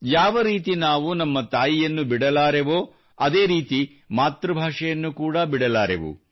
ಯಾವರೀತಿ ನಾವು ನಮ್ಮ ತಾಯಿಯನ್ನು ಬಿಡಲಾರೆವೋ ಅದೇ ರೀತಿ ಮಾತೃಭಾಷೆಯನ್ನು ಕೂಡಾ ಬಿಡಲಾರೆವು